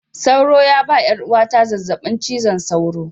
Sauro ya ba 'yar uwata zazzabin cizon sauro